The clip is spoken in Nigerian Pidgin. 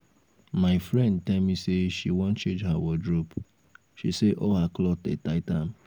my friend tell me say she wan change her wardrobe she say all her cloth dey tight am